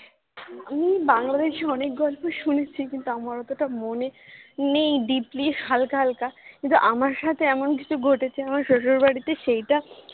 আমি বাংলাদেশী অনেক গল্প শুনেছি কিন্তু আমার অতটা মনে নেই deeply হালকা হালকা কিন্তু আমার সাথে এমন কিছু ঘটেছে আমার শশুরবাড়িতে সেইটা